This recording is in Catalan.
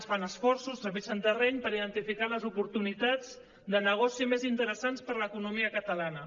es fan esforços trepitgen terreny per identificar les oportunitats de negoci més interessants per a l’economia catalana